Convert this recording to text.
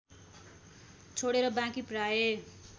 छोडेर बाँकी प्रायः